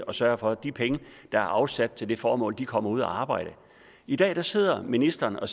og sørge for at de penge der er afsat til det formål kommer ud at arbejde i dag sidder ministeren og